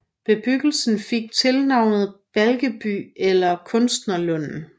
Bebyggelsen fik tilnavnet Balkeby eller Kunstnerlund